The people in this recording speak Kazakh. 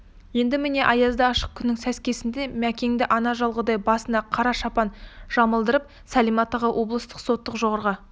енді міне аязды ашық күннің сәскесінде мәкенді ана жолғыдай басына қара шапан жамылдырып сәлима тағы облыстық соттың жоғарғы